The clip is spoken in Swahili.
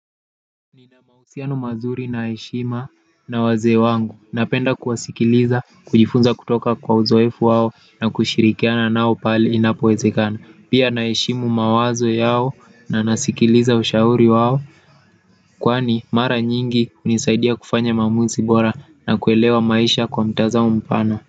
Nina mahusiano mazuri na heshima na wazee wangu, napenda kuwasikiliza, kujifunza kutoka kwa uzoefu wao na kushirikiana nao pale inapowezekana, pia naheshimu mawazo yao na nasikiliza ushauri wao, kwani mara nyingi hunisaidia kufanya maamuzi bora na kuelewa maisha kwa mtazamo mpana.